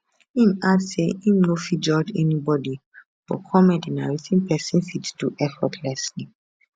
im add say im no fit judge anybody but comedy na wetin pesin fit do effortlessly